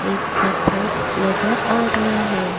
एक पत्थर नजर आ रहा है।